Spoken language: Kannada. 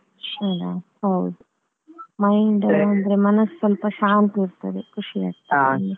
ಹ್ಮ್ ಹ್ಮ್ ಹೌದು mind ಅಂದ್ರೆ ಮನಸು ಸ್ವಲ್ಪ ಶಾಂತಿ ಇರ್ತದೆ ಖುಷಿ ಆಗ್ತದೆ.